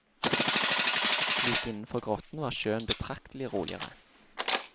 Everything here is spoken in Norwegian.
Like innenfor grotten var sjøen betraktelig roligere.